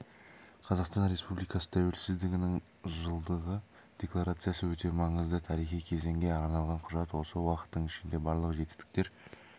қазақстан республикасы тәуелсіздігінің жылдығы декларациясы өте маңызды тарихи кезеңге арналған құжат осы уақыттың ішінде барлық жетістіктер